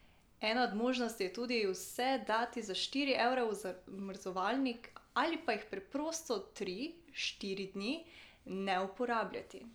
Ena od možnosti je tudi vse dati za štiri ure v zamrzovalnik ali pa jih preprosto tri, štiri dni ne uporabljati.